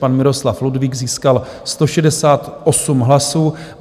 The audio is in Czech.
Pan Miroslav Ludvík získal 168 hlasů.